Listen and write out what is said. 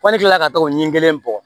Kɔ ni kilala ka tɔgɔ ɲɛ kelen bɔ